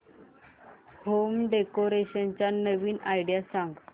home decoration च्या नवीन idea सांग